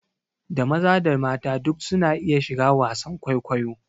Da maza da mata duk su na iya shiga wasan kwaikwayo